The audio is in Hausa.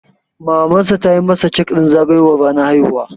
Mamansa ta yi masa kek ɗin zagayowar ranar haihuwa.